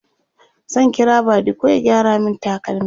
zan kira badiko ya gyara min takalmi